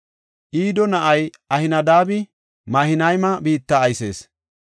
Ido na7ay Ahinadaabi Mahanayma biitta aysees.